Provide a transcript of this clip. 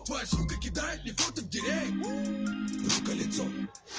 рукалицо